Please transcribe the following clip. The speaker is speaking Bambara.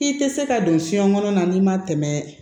I tɛ se ka don fiɲɛ kɔnɔ na n'i ma tɛmɛ